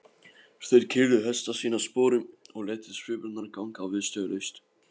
Þeir keyrðu hesta sína sporum og létu svipurnar ganga viðstöðulaust.